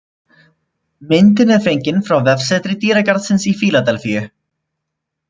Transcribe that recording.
Myndin er fengin frá vefsetri dýragarðsins í Fíladelfíu